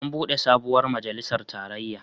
An buɗe sabuwar majalisar tarayya.